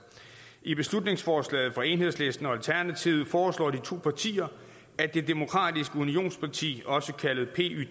i beslutningsforslaget fra enhedslisten og alternativet foreslår de to partier at det demokratiske unionsparti også kaldet pyd